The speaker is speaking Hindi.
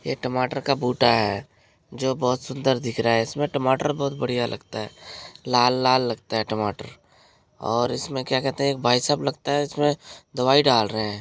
ये टमाटर का बोरा है जो बहुत सुंदर दिख रहा है। इसमें टमाटर बहुत बढ़िया लगते हैं लाल-लाल लगते हैं टमाटर और इसमें किया कहते हैं भाईसाहब लगता है इसमें दवाई डाल रहे हैं।